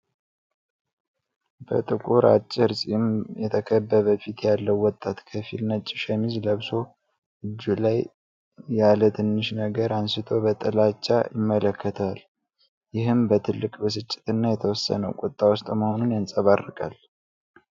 በጥቁር አጭር ፂም የተከበበ ፊት ያለው ወጣት ከፊል ነጭ ሸሚዝ ለብሶ፣ እጁ ላይ ያለ ትንሽ ነገር አንስቶ በጥላቻ ይመለከተዋል። ይህም በትልቅ ብስጭትና የተወሰነ ቁጣ ውስጥ መሆኑን ያንጸባርቃል።